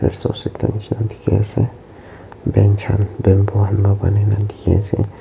resource ekta nisna dikhi ase bench khan Bamboo khan bhal bhane dikhi ase.